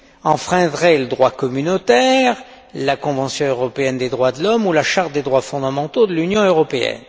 enfreindrait le droit communautaire, la convention européenne des droits de l'homme ou la charte des droits fondamentaux de l'Union européenne.